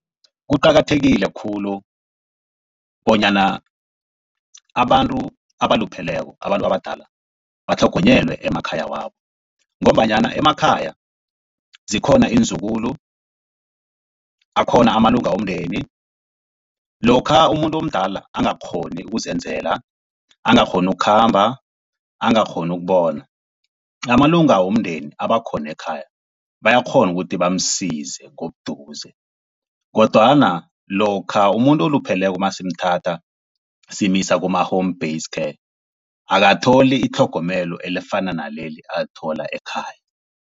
Kuqakathekile khulu bonyana abantu abalupheleko, abantu abadala batlhogonyelwe emakhaya wabo, ngombanyana emakhaya zikhona iinzukulu, akhona amalunga womndeni. Lokha umuntu omdala angakghoni ukuzenzela, angakghoni ukukhamba, angakghoni ukubona amalunga womndeni abakhona ekhaya, bayakghona ukuthi bamsize ngobuduze. Kodwana lokha umuntu olupheleko nasimuthatha simusa kuma-home base care akatholi itlhogomelo elifana naleli alithola ekhaya.